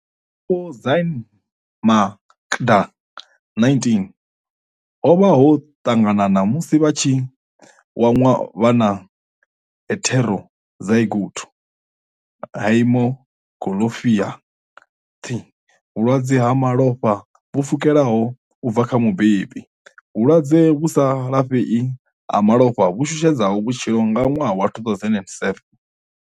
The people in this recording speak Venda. Vhutshilo ha Vho Zyaan Makda nineteen ho vha ho ṱanganana musi vha tshi wanwa vha na heterozygote haemoglobinopa thy vhulwadze ha malofha vhu pfukhelaho u bva kha mubebi, vhulwadze vhu sa lafhei ha malofha vhu shushedzaho vhutshilo nga ṅwaha wa 2007.